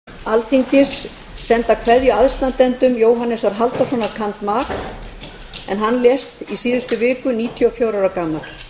þá vill forseti fyrir hönd alþingis senda kveðju aðstandendum jóhannesar halldórssonar cand mag en hann lést í síðustu viku níutíu og fjögurra ára gamall